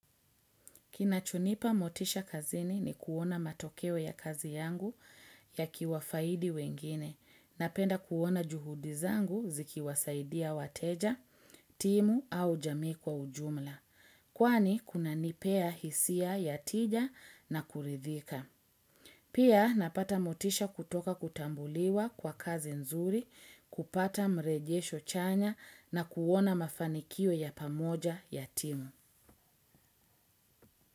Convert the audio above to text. Kinachonipa motisha kazini ni kuona matokeo ya kazi yangu ya kiwafaidi wengine, napenda kuona juhudi zangu zikiwasaidia wateja, timu au jamii kwa ujumla, kwani kunanipea hisia ya tija na kuridhika. Pia napata motisha kutoka kutambuliwa kwa kazi nzuri, kupata mrejesho chanya na kuona mafanikio ya pamoja ya timu.